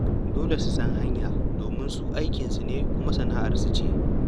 Dole su san hanya domin su aikinsu ne kuma sana'arsu ce.